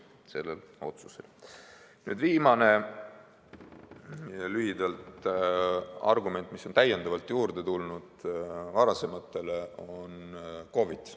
Nüüd lühidalt ka viimane argument, mis on varasematele täiendavalt juurde tulnud: see on COVID.